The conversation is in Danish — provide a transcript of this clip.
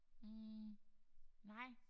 Hm nej